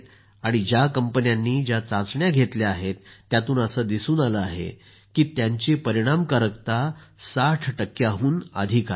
आणि ज्या कंपन्यांनी ज्या चाचण्या घेतल्या आहेत त्यातून असं पाहिलं गेलं आहे की त्यांची परिणामकारकता 60 टक्क्याहून अधिक आहे